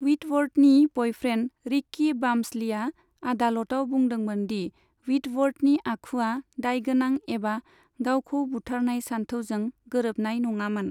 व्हिटवर्थनि boyfriend Ricky वाम्सलीआ आदालतआव बुंदोंमोन दि व्हिटवर्थनि आखुआ दायगोनां एबा गावखौ बुथारनाय सानथौजों गोरोबनाय नङामोन।